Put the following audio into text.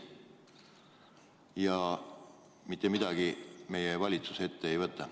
Ja mitte midagi meie valitsus ette ei võta.